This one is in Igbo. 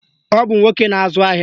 Ọ bụ nwoke na-azụ ahịa